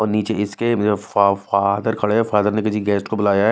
और नीचे इसके फा फादर खड़े हैं फादर ने किसी गेस्ट को बुलाया है।